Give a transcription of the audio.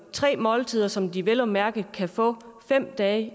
tre måltider som de vel at mærke kan få fem dage